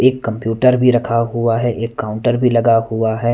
एक कंप्यूटर भी रखा हुआ है एक काउंटर भी लगा हुआ हैं --